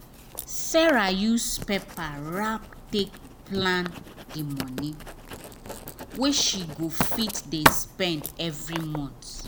sarah use paper wrap take plan the money wey she go fit dey spend every month.